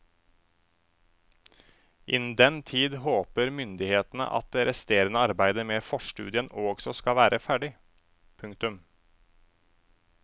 Innen den tid håper myndighetene at det resterende arbeidet med forstudien også skal være ferdig. punktum